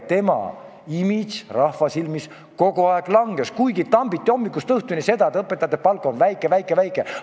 Tema imago rahva silmis kogu aeg langes, kuigi tambiti hommikust õhtuni seda, et õpetajate palk on väike-väike-väike.